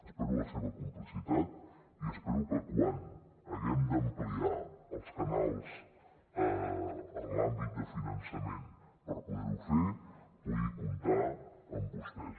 espero la seva complicitat i espero que quan haguem d’ampliar els canals en l’àmbit de finançament per poder ho fer pugui comptar amb vostès